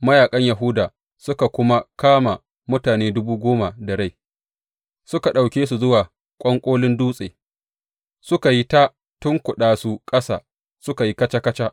Mayaƙan Yahuda suka kuma kama mutane dubu goma da rai, suka ɗauke su zuwa ƙwanƙolin dutsen, suka yi ta tunkuɗa su ƙasa suka yi kaca kaca.